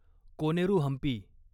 Koneru Hampi